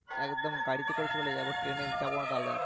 একদম গাড়ি করে চলে যাবো train যাবো না তাহলে আর